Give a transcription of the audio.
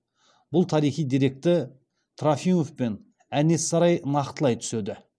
бұл тарихи деректі трофимов пен әнес сарай нақтылай түседі